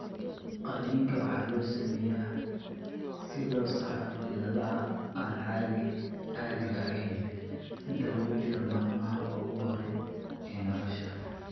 Qalliinka waxaa loo sameeyaa si loo saxo cilladaha aan caadiga ahayn inta lagu jiro maalmaha ugu horreeya ee nolosha.